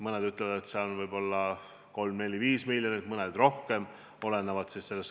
Mõned ütlevad, et võib-olla 3, 4, 5 miljonit, mõned pakuvad rohkem.